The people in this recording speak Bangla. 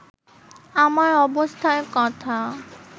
আমার অবস্থার কথা